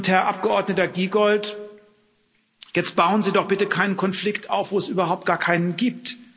Herr Abgeordneter Giegold, jetzt bauen Sie doch bitte keinen Konflikt auf, wo es überhaupt gar keinen gibt.